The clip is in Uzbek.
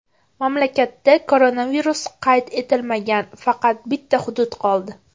Mamlakatda koronavirus qayd etilmagan faqat bitta hudud qoldi.